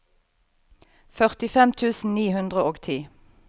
førtifem tusen ni hundre og ti